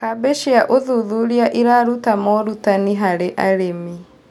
Kambĩ cĩa ũthũthũrĩa ĩrarũta morũtanĩ harĩ arĩmĩ